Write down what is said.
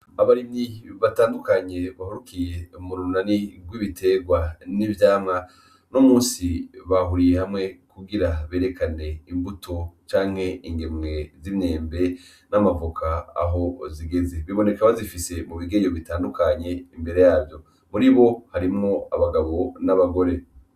Abarimyi batandukanye bahurikiye murunani rw'ibiterwa n'ivyamwa uno munsi bahuriye hamwe kugira berekane imbuto canke ingemwe z'imyembe n'amavoka aho zigeze biboneka bazifise mubigeyo bitandukanye imbere yabo ,muribo harimwo abagabo n'abagore.